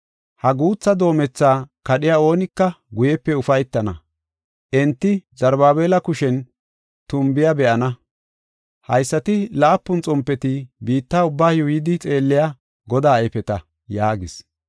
Ha guutha doomethaa kadhiya oonika guyepe ufaytana; enti Zarubaabela kushen tumbiya be7ana. Haysati laapun xompeti biitta ubbaa yuuyidi xeelliya Godaa ayfeta” yaagis.